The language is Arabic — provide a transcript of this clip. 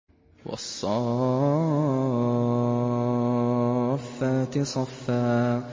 وَالصَّافَّاتِ صَفًّا